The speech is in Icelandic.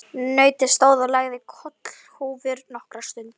Nautið stóð og lagði kollhúfur nokkra stund.